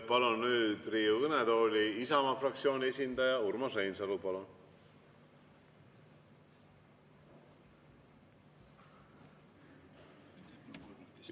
Palun nüüd Riigikogu kõnetooli Isamaa fraktsiooni esindaja Urmas Reinsalu!